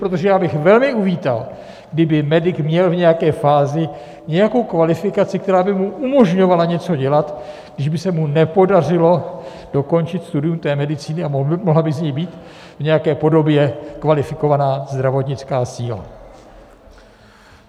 Protože já bych velmi uvítal, kdyby medik měl v nějaké fázi nějakou kvalifikaci, která by mu umožňovala něco dělat, když by se mu nepodařilo dokončit studium té medicíny, a mohla by z něj být v nějaké podobě kvalifikovaná zdravotnická síla.